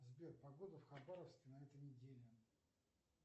сбер погода в хабаровске на этой неделе